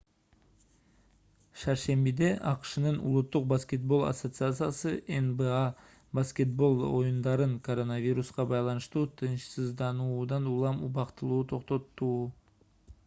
шаршембиде акшнын улуттук баскетбол ассоциациясы nba баскетбол оюндарын коронавируска байланыштуу тынчсыздануудан улам убактылуу токтоттуу